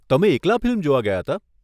તમે એકલા ફિલ્મ જોવા ગયા હતા?